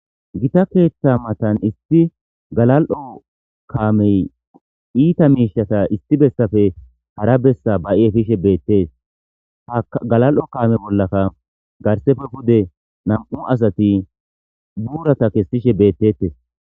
Gita keeththa matan issi galal7o kaamey iita miishata issi bessafe hara bessa ba7i efishe beettees ha galal7o kaame bollakka garsepfe pude nam7u asati buurata kessishe beettetes.